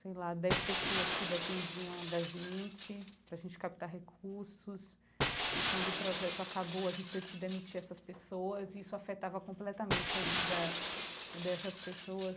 sei lá, dez pessoas que dependiam da gente para a gente captar recursos e quando o projeto acabou a gente teve que demitir essas pessoas e isso afetava completamente a vida dessas pessoas.